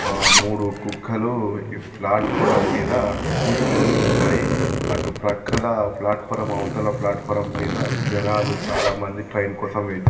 ఆ మూడు కుక్కలు ఈ ప్లాటఫోరం మీద కూర్చొని ఉన్నాయి అటు పక్కల ప్లాటఫోరం అవతల ప్లాటఫోరం మీద జనాలు చాలామంది ట్రైన్ కోసం వై--